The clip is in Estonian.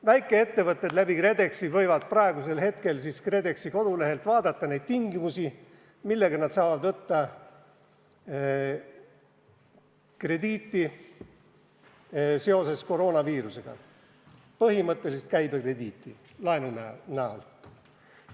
Väikeettevõtted võivad praegu KredExi kodulehelt vaadata neid tingimusi, millega nad saavad seoses koroonaviirusega krediiti võtta – põhimõtteliselt käibekrediiti laenu näol.